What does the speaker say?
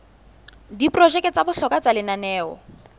diprojeke tsa bohlokwa tsa lenaneo